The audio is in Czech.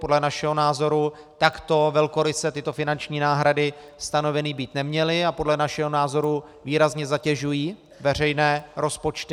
Podle našeho názoru takto velkoryse tyto finanční náhrady stanoveny být neměly a podle našeho názoru výrazně zatěžují veřejné rozpočty.